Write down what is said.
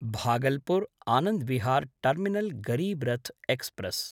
भागलपुर्–आनन्द् Vihar terminal Garib Rath express